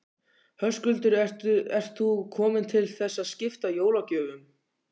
Höskuldur: Ert þú komin til þess að skipta jólagjöfum?